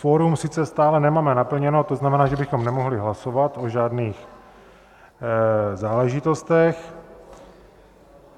Kvorum sice stále nemáme naplněno, to znamená, že bychom nemohli hlasovat o žádných záležitostech.